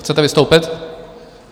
Chcete vystoupit?